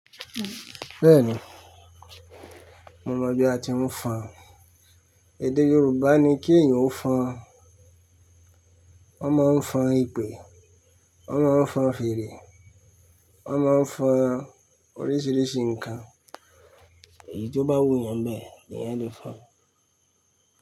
Bẹ́ẹ̀ni, mo mọ̀ bí a ti ń fọn. Èdè Yorùbá ni kí èèyàn ó fọn. Wọ́n ma ń fọn ìpè, wọ́n ma ń fọn fèrè, wọ́n ma ń fọn oríṣiríṣi nǹkan. Èyí tó bá wù yẹn nbẹ̀ l'èyàn Le fon.